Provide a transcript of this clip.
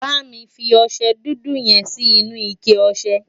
bámi fí ọsẹ dúdú yen Si inú ike ọsẹ